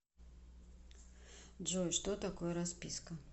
джой что такое расписка